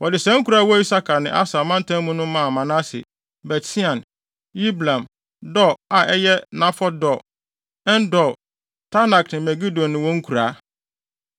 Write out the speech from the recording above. Wɔde saa nkurow a ɛwɔ Isakar ne Aser mantam mu no maa Manase: Bet-Sean, Yibleam, Dor (a ɛyɛ Nafɔt Dor), En-Dor, Taanak ne Megido ne wɔn nkuraa.